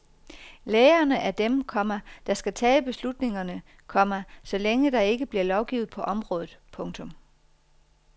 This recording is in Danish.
Lægerne er dem, komma der skal tage beslutningerne, komma så længe der ikke bliver lovgivet på området. punktum